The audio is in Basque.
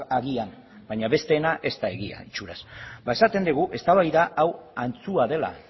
agian baina besteena ez da egia itxuraz esaten dugu eztabaida hau antzua dela